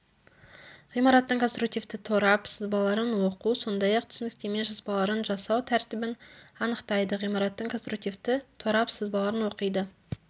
ғимараттың конструктивті торап сызбаларын оқу сондай-ақ түсініктеме жазбаларын жасау тәртібін анықтайды ғимараттың конструктивті торап сызбаларын оқиды